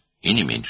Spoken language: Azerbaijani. Və az deyil.